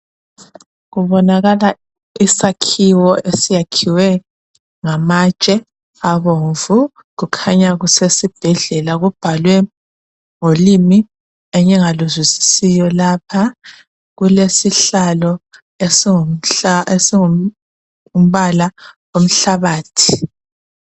Kubonakala isakhiwo esakhiwe ngamatshe abomvu. Kukhanya kusesibhedlela kubhalwe ngolimi engingaluzwisisiyo lapha. Kulesihlalo esingumbala womhlabathi.